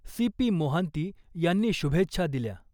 C P Mohanty यांनी शुभेच्छा दिल्या .